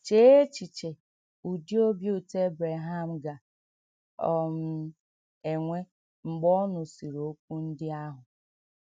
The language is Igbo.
Chee echiche ụdị obi ụtọ Ebreham ga - um enwe mgbe ọ nụsịrị okwu ndị ahụ!